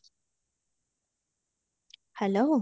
hello